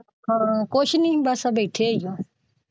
ਹਾਂ ਕੁਝ ਨਹੀਂ ਬਸ ਬੈਠੇ ਹਾਂ।